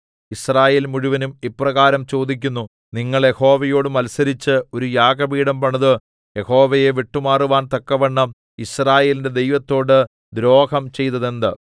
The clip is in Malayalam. യിസ്രായേൽ മുഴുവനും ഇപ്രകാരം ചോദിക്കുന്നു നിങ്ങൾ യഹോവയോട് മത്സരിച്ച് ഒരു യാഗപീഠം പണിത് യഹോവയെ വിട്ടുമാറുവാൻ തക്കവണ്ണം യിസ്രായേലിന്റെ ദൈവത്തോട് ദ്രോഹം ചെയ്തതെന്ത്